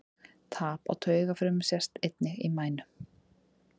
Tap á taugafrumum sést einnig í mænu.